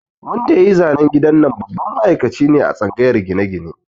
Wanda yayi zanen gidan nan babban ma'aikaci ne a tsangayar gine-gine